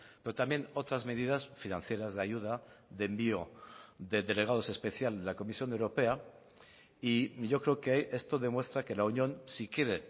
pero también otras medidas financieras de ayuda de envío de delegados especiales de la comisión europea y yo creo que esto demuestra que la unión si quiere